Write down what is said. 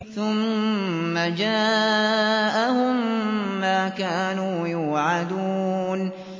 ثُمَّ جَاءَهُم مَّا كَانُوا يُوعَدُونَ